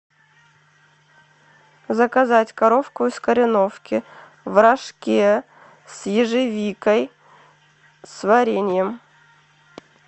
заказать коровку из кореновки в рожке с ежевикой с вареньем